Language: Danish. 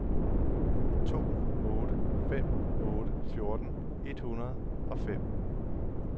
to otte fem otte fjorten et hundrede og fem